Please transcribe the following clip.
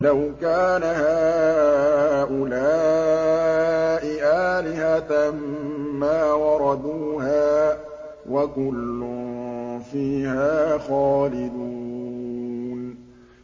لَوْ كَانَ هَٰؤُلَاءِ آلِهَةً مَّا وَرَدُوهَا ۖ وَكُلٌّ فِيهَا خَالِدُونَ